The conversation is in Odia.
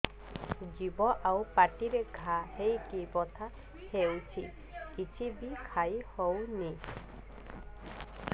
ଜିଭ ଆଉ ପାଟିରେ ଘା ହେଇକି ବଥା ହେଉଛି କିଛି ବି ଖାଇହଉନି